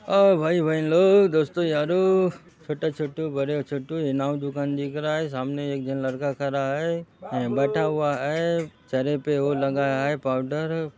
ओ भाई बहेन लोग दोस्तों यारों छोटे छोटु बड़े छोटु नाऊ दुकान दिख रहा है सामने एक जन लड़का खरा है नहीं बैठा हुआ है चेहरे पे ओ लगाया है पाउडर --